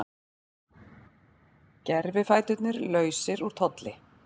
Gervifæturnir lausir úr tolli